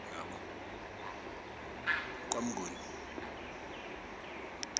kwamnguni